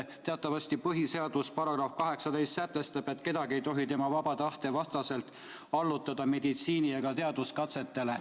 Teatavasti põhiseaduse § 18 sätestab, et kedagi ei tohi tema vaba tahte vastaselt allutada meditsiini- ega teaduskatsetele.